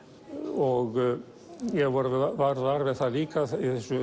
og ég varð var við það líka að